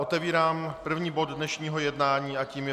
Otevírám první bod dnešního jednání a tím je